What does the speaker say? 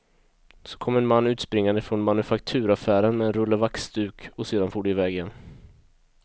Så kom en man utspringande från manufakturaffären med en rulle vaxduk, och sedan for de iväg igen.